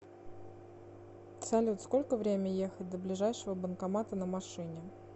салют сколько время ехать до ближайшего банкомата на машине